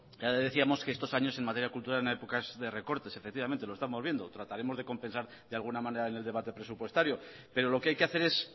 ya le decíamos que estos años en materia cultural es una época de recortes efectivamente lo estamos viendo trataremos de compensar de alguna manera en el debate presupuestario pero lo que hay que hacer es